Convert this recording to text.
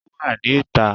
Ò wà ní ta